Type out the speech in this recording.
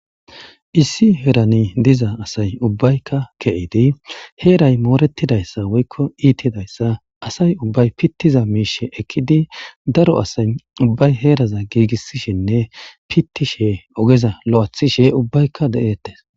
Issi heran diza asay ubbayka ke'id heray moretidaysa woyko itidaysa asay ubbay pitiza mishe ekid asay ubbay heraza gigisishenne pitishe ogeza lo'ethishene ubbayka de'etes.